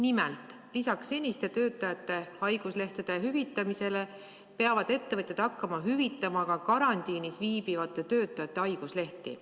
Nimelt, lisaks senisele haigete töötajate haiguslehtede hüvitamisele peavad ettevõtjad hakkama hüvitama karantiinis viibivate töötajate haiguslehti.